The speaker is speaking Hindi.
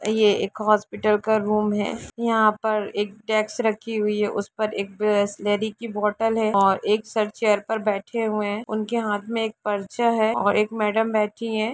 यह एक हॉस्पिटल का रूम है यहाँ पर एक डेस्क रखी हुई है उस पर एक बिसलेरी की बोतल है और एक सर चेयर पर बैठे हुए है उनके हाथ में एक परचा है और एक मैंडम बैठी है।